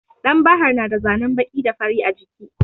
Ɗan bahar na da zane baƙi da fari a jiki.